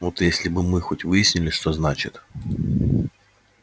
вот если бы мы хоть выяснили что значит